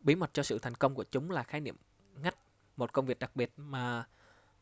bí mật cho sự thành công của chúng là khái niệm ngách một công việc đặc biệt mà